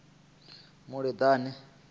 muleḓane